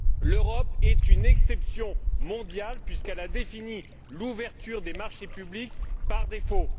L'Europe est une exception mondiale puisqu'elle a défini l'ouverture des marchés publics par défaut.